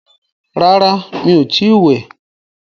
Rárá, mi ò tí wẹ̀.